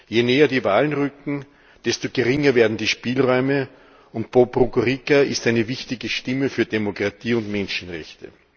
Je näher die Wahlen rücken, desto geringer werden die Spielräume, und Bob Rugurika ist eine wichtige Stimme für Demokratie und Menschenrechte.